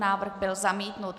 Návrh byl zamítnut.